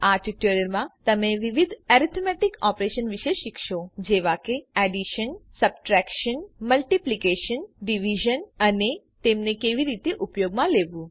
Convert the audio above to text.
આ ટ્યુટોરીયલ માં તમે વિવિધ એરિથમેટિક ઓપરેશન વિશે શીખશો જેવા કે એડિશન સબટ્રેક્શન મલ્ટિપ્લિકેશન ડિવિઝન અને તેમને કેવી રીતે ઉપયોગમાં લેવું